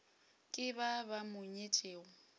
ke ba ba mo nyetšego